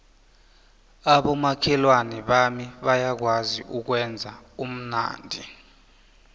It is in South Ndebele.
abomakhelwana bami bayakwazi ukwenza ubumnandi